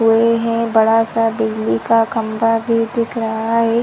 बड़ा सा बिजली का खम्बा भी दिख रहा है।